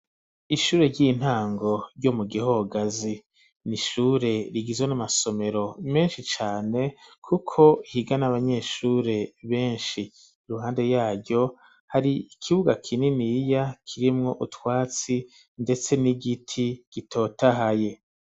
Ishure ry'intango ryo mu Gihogazi, ni ishure rigizwe n'amasomero menshi cane, kuko higa n'abanyeshure benshi; iruhande yaryo hari ikibuga kininiya, kirimwo utwatsi ndetse n'igiti gitotahaye.